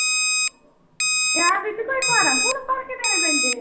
ਤੇ ਆਹ ਬੀਬੀ ਕੋਈ ਫਾਰਮ ਫੂਰਮ ਭਰਕੇ ਦੇਣੇ ਪੈਂਦੇ ਹੈ?